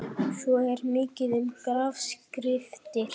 Svo er mikið um grafskriftir.